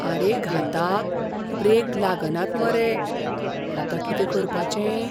आरे घाता, ब्रेक लागनात मरे. आतां कितें करपाचें?